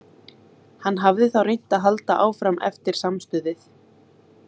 Hann hafði þá reynt að halda áfram eftir samstuðið.